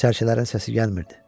Sərçələrin səsi gəlmirdi.